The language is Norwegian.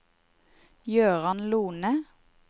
Gøran Lohne